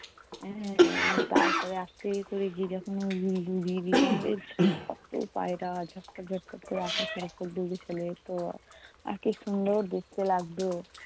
এর তারপরে আস্তে করে গিয়ে যখন উড়িয়ে দিতাম, কত পায়রা ঝটপট ঝটপট কোরে আকাশে দৌড়ে খেলে তো, আহ! কী সুন্দর দেখতে লাগতো।